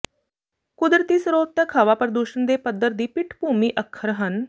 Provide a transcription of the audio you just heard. ਕੁਦਰਤੀ ਸਰੋਤ ਤੱਕ ਹਵਾ ਪ੍ਰਦੂਸ਼ਣ ਦੇ ਪੱਧਰ ਦੀ ਪਿੱਠਭੂਮੀ ਅੱਖਰ ਹਨ